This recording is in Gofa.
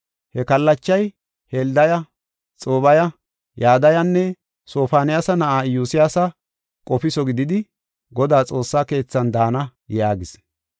He kallachay Heldaya, Xoobbiya, Yadayanne Sofoniyaasa na7aa Iyosyaasa qofiso gididi, Godaa xoossa keethan daana” yaagis.